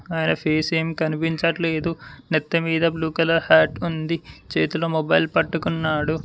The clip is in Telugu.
ఆయన ఫేస్ ఏం కనిపించట్లేదు నెత్తి మీద బ్లూ కలర్ హ్యాట్ ఉంది చేతిలో మొబైల్ పట్టుకున్నాడు.